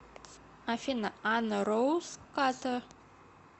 афина анна роуз картер